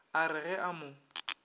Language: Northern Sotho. a re ge a mo